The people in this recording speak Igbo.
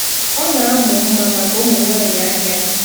Ọ na-amụ mma maka ụmụ nwanyị ahịa.